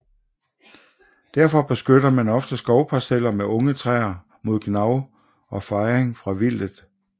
Derfor beskytter man ofte skovparceller med unge træer mod gnav og fejning fra vildtet